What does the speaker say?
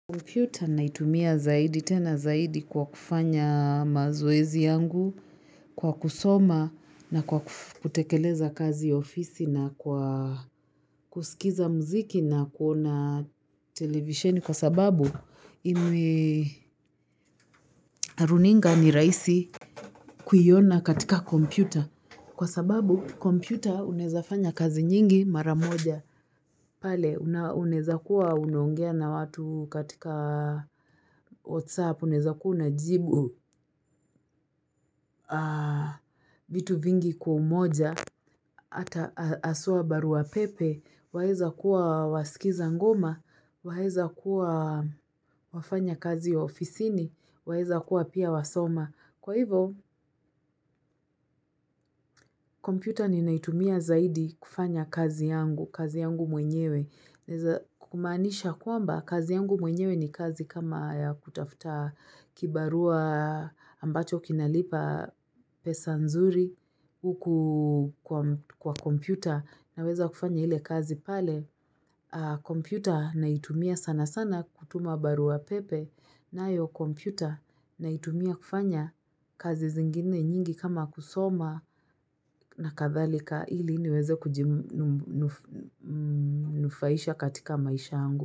Computer naitumia zaidi tena zaidi kwa kufanya mazoezi yangu kwa kusoma na kwa kutekeleza kazi ofisi na kwa kusikiza mziki na kuona television kwa sababu ime runinga ni rahisi kuiona katika kompyuta kwa sababu kompyuta unawezafanya kazi nyingi maramoja pale unaeza kuwa unaongea na watu katika whatsapp unaweza kuna jibu vitu vingi kwa umoja ata haswabarua pepe, waeza kuwa wasikiza ngoma, waeza kuwa wafanya kazi wa ofisini, waeza kuwa pia wasoma. Kwa hivo, kompyuta ninaitumia zaidi kufanya kazi yangu, kazi yangu mwenyewe. Naeza kumaanisha kwamba kazi yangu mwenyewe ni kazi kama ya kutafuta kibarua ambacho kinalipa pesa nzuri uku kwa kompyuta na weza kufanya ile kazi pale kompyuta na itumia sana sana kutuma barua pepe na yo kompyuta na itumia kufanya kazi zingine nyingi kama kusoma na kathalika ili niweze kujimu nufaisha katika maisha angu.